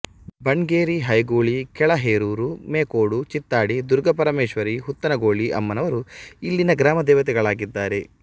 ಬಣ್ಗೇರಿ ಹೈಗುಳಿ ಕೆಳ ಹೇರೂರು ಮೇಕೋಡು ಚಿತ್ತಾಡಿ ದುರ್ಗಾಪರಮೆಶ್ವರಿ ಹುತ್ತನಗೋಳಿ ಅಮ್ಮನವರು ಇಲ್ಲಿನ ಗ್ರಾಮ ದೇವತೆಗಳಾಗಿದ್ದಾರೆ